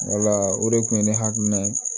Wala o de kun ye ne hakilina ye